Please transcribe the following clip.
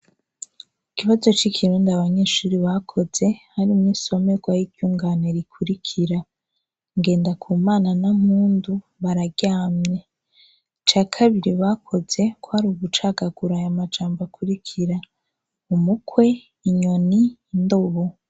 Ikibazo c'ikirundi abanyeshure bakoze, harimwo insomerwa yi ryungane rikurikira. Ngendakumana na Mpundu bararyamye. Ica kabiri bakoze, kw'ari ugucagagura aya majambo akurikira : umukwe, inyoni, indobo.